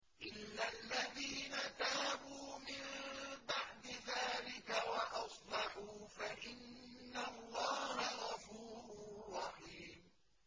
إِلَّا الَّذِينَ تَابُوا مِن بَعْدِ ذَٰلِكَ وَأَصْلَحُوا فَإِنَّ اللَّهَ غَفُورٌ رَّحِيمٌ